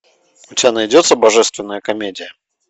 у тебя найдется божественная комедия